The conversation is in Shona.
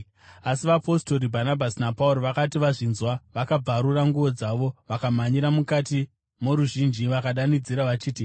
Asi vapostori Bhanabhasi naPauro vakati vazvinzwa, vakabvarura nguo dzavo vakamhanyira mukati moruzhinji, vakadanidzira vachiti,